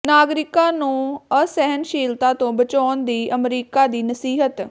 ਨਾਗਰਿਕਾਂ ਨੂੰ ਅਸਹਿਣਸ਼ੀਲਤਾ ਤੋਂ ਬਚਾਉਣ ਦੀ ਅਮਰੀਕਾ ਦੀ ਨਸੀਹਤ